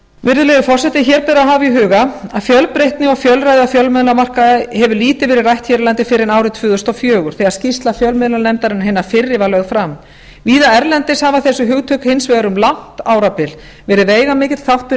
virðulegi forseti hér ber að hafa í huga að fjölbreytni og fjölræði á fjölmiðlamarkaði hefur lítið verið rætt hér á landi fyrr en árið tvö þúsund og fjögur þegar skýrsla fjömiðlanefndairnnar hinnar fyrri var lögð aðra víða erlendis hafa þessi hugtök hins vegar um langt árabil verið veigamikill þáttur